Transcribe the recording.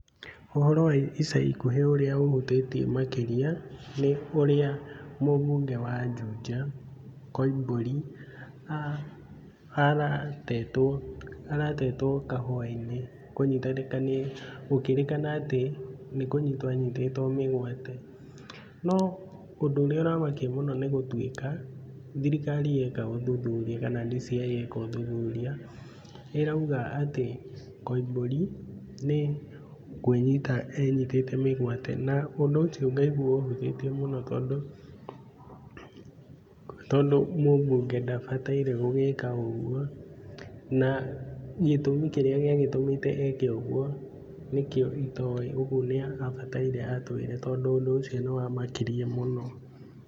Ũhoro wĩ ica ikuhĩ ũrĩa ũhutĩtie makĩria nĩ ũrĩa mũbunge wa Juja, Koimbũri, aratetwo kahũwa-inĩ nĩ gũkĩĩrĩkana atĩ nĩ kũnyitwo anyitĩtwo mĩgwate. No ũndũ ũrĩa ũramakia mũno nĩ gũtuĩka thirikari yeka ũthuthuria kana DCI yeka ũthuthuria, ĩroiga atĩ Koimbũri nĩ kwĩnyita enyitĩte mĩgwate. Na ũndũ ũcio ngaigua ũhutĩtie mũno tondũ mũbunge ndabatairie gwĩka ũguo, na gĩtũmi kĩrĩa gĩagĩtũmĩte eke ũguo nĩkĩo itoĩ. Ũguo nĩ abataire atwĩre tondũ ũndũ ũcio nĩ wamakirie mũno.